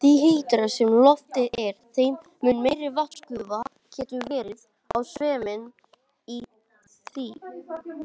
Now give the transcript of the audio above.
Því heitara sem loftið er, þeim mun meiri vatnsgufa getur verið á sveimi í því.